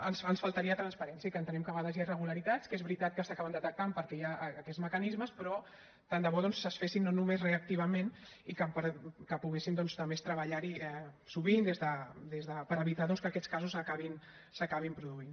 ens faltaria transparència i que entenem que a vegades hi ha irregularitats que és veritat que s’acaben detectant perquè hi ha aquests mecanismes però tant de bo doncs es fessin no només reactivament i que poguéssim doncs treballar hi sovint per evitar que aquests casos s’acabin produint